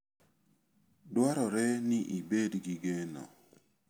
Dwarore ni ibed gi geno.